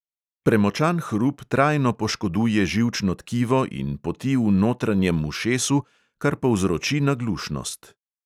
Premočan hrup trajno poškoduje živčno tkivo in poti v notranjem ušesu, kar povzroči naglušnost.